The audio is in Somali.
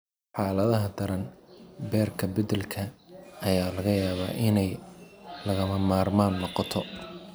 Xaaladaha daran, beerka beddelka ayaa laga yaabaa inay lagama maarmaan noqoto.